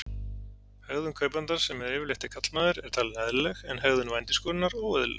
Hegðun kaupandans, sem yfirleitt er karlmaður, er talin eðlileg en hegðun vændiskonunnar óeðlileg.